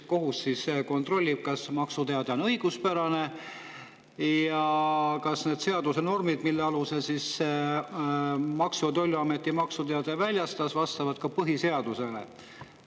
" Kohus siis kontrollib, kas maksuteade on õiguspärane ja kas need seaduse normid, mille alusel Maksu- ja Tolliamet maksuteate väljastas, vastavad põhiseadusele.